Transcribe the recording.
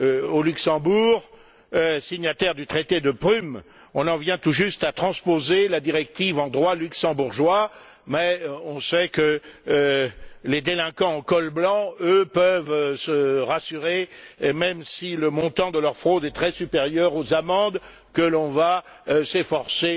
Au Luxembourg, pays signataire du traité de Prüm, on vient tout juste de transposer la directive en droit luxembourgeois, mais on sait que les délinquants en col blanc, eux, peuvent se rassurer, même si le montant de leur fraude est très supérieur aux amendes que l'on va s'efforcer